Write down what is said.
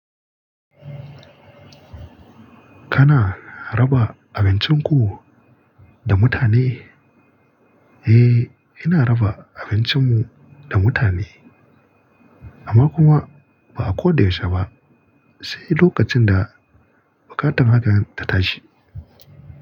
Kana raba abincin ku da mutane? Eh, ina raba abincin mu da mutane, amma kuma ba a ko da yaushe ba, sai lokacin da buƙatar hakan ta tashi.